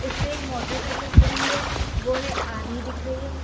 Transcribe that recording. उस पे मोटरसाइकिल खड़ी हुई है वो है आधी दिख रही है।